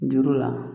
Juru la